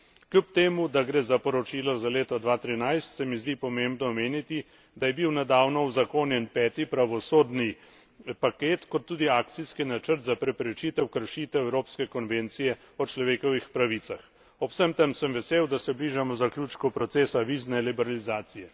Kljub temu, da gre za poročilo za leto 2013, se mi zdi pomembno omeniti, da je bil nedavno uzakonjen peti pravosodni paket kot tudi akcijski načrt za preprečitev kršitev Evropske konvencije o človekovih pravicah. Ob tem sem vesel, da se bližamo zaključku procesa vizumske liberalizacije.